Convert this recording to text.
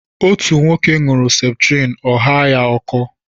Otú nwoke ṅuru septrin ọ ghaa ya ọkọ